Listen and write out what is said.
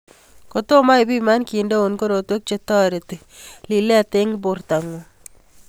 Ko tomo ipiman kindeun korotwek che toreti lilet ing porto ngun.